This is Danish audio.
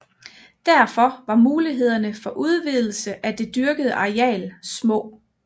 Derfor var mulighederne for udvidelse af det dyrkede areal små